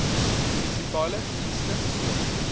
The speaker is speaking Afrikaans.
munisipale dienste soos